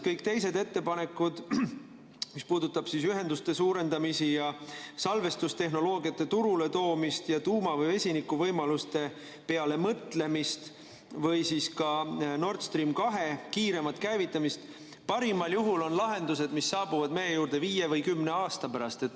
Kõik teised ettepanekud, mis puudutavad ühenduste suurendamist, salvestustehnoloogiate turuletoomist ja tuuma‑ või vesinikuvõimaluste peale mõtlemist või ka Nord Stream 2 kiiremat käivitamist, on parimal juhul lahendused, mis saabuvad meie juurde viie või kümne aasta pärast.